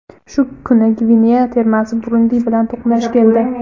Shu kuni Gvineya termasi Burundi bilan to‘qnash keldi.